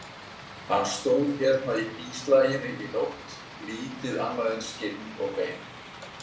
. hann stóð hérna í bíslaginu í nótt, lítið annað en skinn og bein.